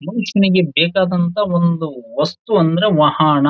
ಮನುಷ್ಯನಿಗೆ ಬೇಕಾದಂತಹ ಒಂದು ವಸ್ತು ಎಂದರೆ ವಾಹನ.